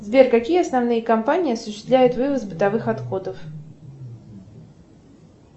сбер какие основные компании осуществляют вывоз бытовых отходов